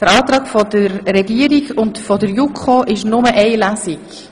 Der Antrag der Regierung und der JuKo ist, nur eine Lesung zu machen.